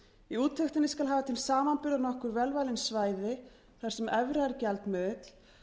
í úttektinni skal hafa til samanburðar nokkur vel valin svæði þar sem evra er gjaldmiðill